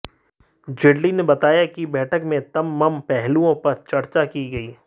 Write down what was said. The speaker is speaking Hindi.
जेटली ने बताया कि बैठक में तममम पहलुओं पर चर्चा की गयी